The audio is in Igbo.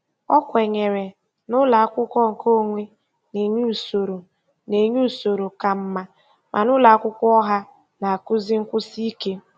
O kwenyere na ụlọakwụkwọ nke onwe na-enye usoro na-enye usoro ka mma, mana ụlọakwụkwọ ọha na-akụzi nkwụsị ike.